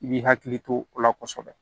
I b'i hakili to o la kɔsɛbɛ